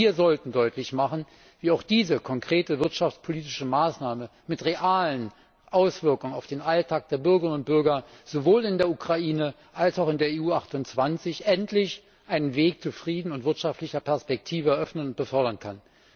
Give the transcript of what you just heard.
Wir sollten deutlich machen, wie auch diese konkrete wirtschaftspolitische Maßnahme mit realen Auswirkungen auf den Alltag der Bürgerinnen und Bürger sowohl in der Ukraine als auch in der EU 28 endlich einen Weg zu Frieden und wirtschaftlicher Perspektive eröffnen und fördern kann.